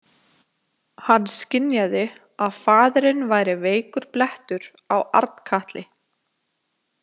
Hann skynjaði að faðirinn væri veikur blettur á Arnkatli.